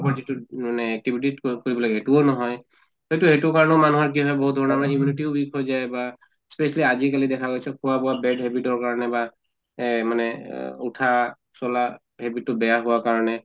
তো মানে কৰিব লাগে এইটোও নহয়, হয়্তো সেইটো কাৰণে মানুহৰ বহুত ধৰণৰ immunity weak হৈ যায় বা specially আজি কালি দেখা গৈছে খোৱা বোৱা bad habit ৰ কাৰণে বা এহ মানে অহ উঠা চলা habit তো বেয়া হোৱাৰ কাৰণে